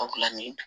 Agilanin